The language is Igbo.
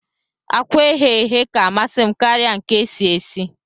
Akwa eghe eghe ka amasim karia nke esi esi